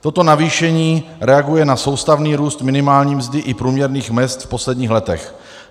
Toto navýšení reaguje na soustavný růst minimální mzdy i průměrných mezd v posledních letech.